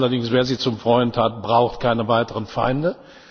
Allerdings, wer Sie zum Freund hat, braucht keine weiteren Feinde.